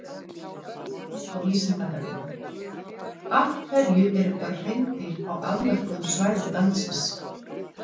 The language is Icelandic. Frekara lesefni á Vísindavefnum: Af hverju eru bara hreindýr á afmörkuðum svæðum landsins?